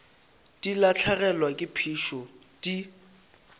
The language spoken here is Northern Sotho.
di lahlegelwa ke phišo di